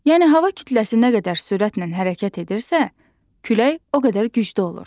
Yəni hava kütləsi nə qədər sürətlə hərəkət edirsə, külək o qədər güclü olur.